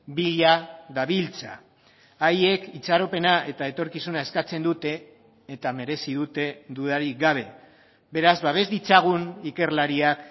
bila dabiltza haiek itxaropena eta etorkizuna eskatzen dute eta merezi dute dudarik gabe beraz babes ditzagun ikerlariak